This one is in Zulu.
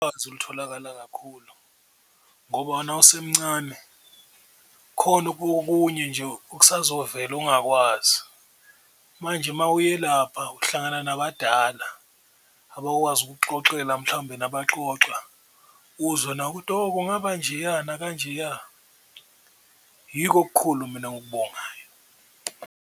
Olutholakala kakhulu ngoba nosemncane khona okunye nje okusazovela ongakwazi, manje uma uyelapha uhlangana nabadala abakwazi ukukuxoxela mhlawumbe nabaxoxa uzwe nawe ukuthi, oh kungaba njeya nakanjeya yiko okukhulu mina ongukubongayo.